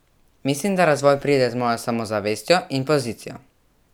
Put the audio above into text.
Mislim, da razvoj pride z mojo samozavestjo in pozicijo.